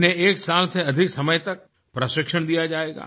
इन्हें एक साल से अधिक समय तक प्रशिक्षण दिया जायेगा